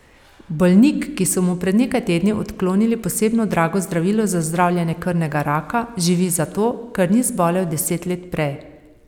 Bolnik, ki so mu pred nekaj tedni odklonili posebno drago zdravilo za zdravljenje krvnega raka, živi zato, ker ni zbolel deset let prej.